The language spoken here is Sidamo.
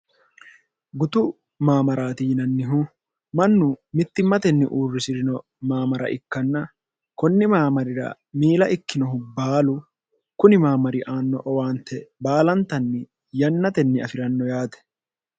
gutu maamaraati yinannihu mannu mittimmatenni uurrisi'rino maamara ikkanna kunni maamarira miila ikkinohu baalu kuni maamari aanno owaante baalantanni yannatenni afi'ranno yaate